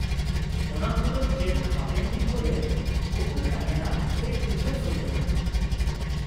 -ᱚᱱᱟ ᱠᱩᱫᱚ ᱪᱮᱫ ᱦᱟᱯᱮᱱ ᱫᱤᱱ ᱠᱚᱨᱮ ᱩᱠᱩ ᱛᱟᱦᱮᱸᱱᱟ ᱥᱮ ᱩᱪᱷᱟᱹᱱ ᱥᱚᱫᱚᱨᱚᱜᱼᱟ ?